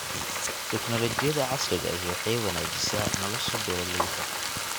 Tignoolajiyada casriga ahi waxay wanaajisaa nolosha beeralayda.